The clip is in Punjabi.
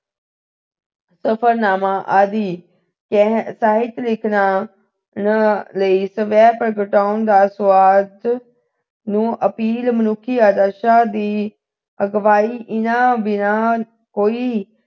ਸਫਰਨਾਮਾ ਆਦਿ ਕਰਨ ਸਾਹਿਤਿਕ ਰਚਨਾ ਲਈ ਸਵੈ ਪ੍ਰਗਟਾਉਣ ਦਾ ਸੁਆਦ ਨੂੰ appeal ਮਨੁੱਖੀ ਆਦਰਸ਼ਾਂ ਦੀ ਅਗਵਾਈ ਇਨ੍ਹਾਂ ਬਿਨਾਂ ਹੋਈ